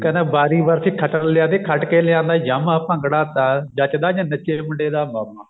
ਖੰਡੇ ਬਾਰੀ ਬਰਸੀ ਖਟਣ ਗਿਆ ਸੀ ਖੱਟ ਕੇ ਲਿਆਂਦਾ ਯਾਮਾ ਭੰਗੜਾ ਤਾਂ ਜਚਦਾ ਜੇ ਨੱਚੇ ਮੁੰਡੇ ਦਾ ਮਾਮਾ